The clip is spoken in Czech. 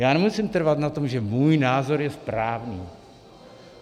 Já nemusím trvat na tom, že můj názor je správný.